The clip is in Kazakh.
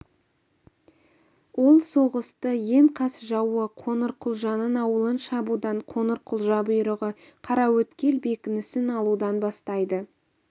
ол соғысты ең қас жауы қоңырқұлжаның ауылын шабудан қоңырқұлжа бұйрығы қараөткел бекінісін алудан бастайды